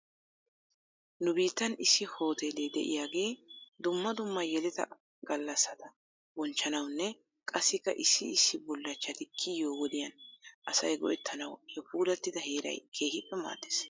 Nu biittan issi hooteele de'iyaagee dumma dumma yeleta gallasata bonchchanawunne qassikka issi issi bullachchati kiyiyoo wodiyan asay go'ettanawu he puulattida heeray keehippe maades.